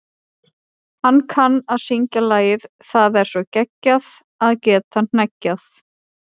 Hann kann að syngja lagið Það er svo geggjað að geta hneggjað.